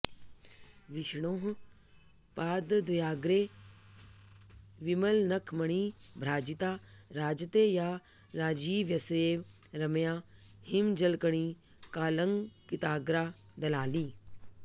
विष्णोः पादद्वयाग्रे विमलनखमणिभ्राजिता राजते या राजीवस्येव रम्या हिमजलकणिकालंकृताग्रा दलाली